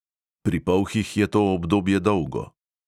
Pri polhih je to obdobje dolgo.